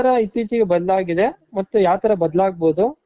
ಇತ್ತೀಚಿಗೆ ಬದಲಾಗಿದೆ ಮತ್ತೆ ಯಾವ್ ತರ ಬದಲಾಗ್ಬಹುದು